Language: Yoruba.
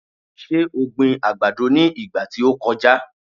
Ṣe o gbin àgbàdo ní ìgbà tí o kọjá?